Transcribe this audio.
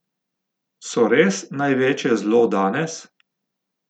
So res največje zlo danes?